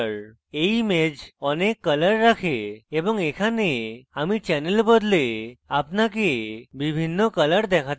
এই image অনেক colours রাখে এবং এখানে আমি channel বদলে আপনাকে বিভিন্ন colours দেখাতে পারি